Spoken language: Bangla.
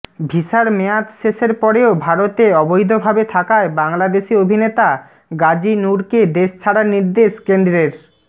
ভিসার মেয়াদ শেষের পরেও ভারতে অবৈধভাবে থাকায় বাংলাদেশি অভিনেতা গাজি নুরকে দেশ ছাড়ার নির্দেশ কেন্দ্রের